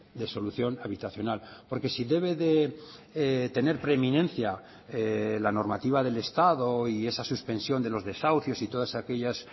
de solución habitacional porque si debe de tener preeminencia la normativa del estado y esa suspensión de los desahucios y todas aquellas